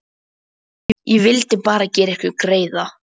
Ég vildi bara gera ykkur greiða.